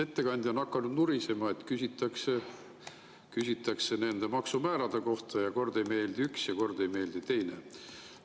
Ettekandja on hakanud nurisema, et küsitakse nende maksumäärade kohta ja kord ei meeldi üks ja kord ei meeldi teine.